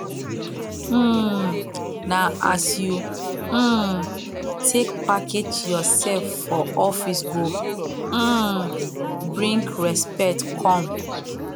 um na as you um take package yoursef for office go um bring respect come